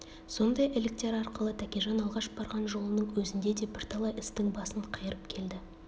сондай іліктер арқылы тәкежан алғаш барған жолының өзінде де бірталай істің басын қайырып келді